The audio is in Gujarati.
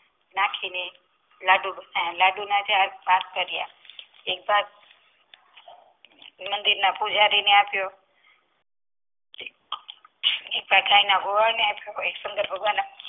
નાખીને લાડુ બનાવ્યા લાડુના કાર પાર્ક કર્યા એક પાક મંદિરના પૂજારી ને આપ્યો એક્થા ગાય ના ગોવાડ ને શંકર ભગવાનના